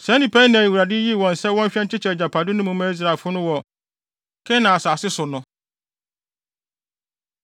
Saa nnipa yi na Awurade yii wɔn sɛ wɔnhwɛ nkyekyɛ agyapade no mu mma Israelfo no wɔ Kanaan asase so no.